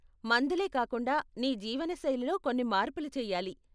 మందులే కాకుండా, నీ జీవన శైలిలో కొన్ని మార్పులు చెయ్యాలి.